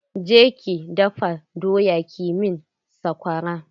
Je ki dafa doya ki min saƙwara!